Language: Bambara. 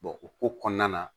o ko kɔnɔna na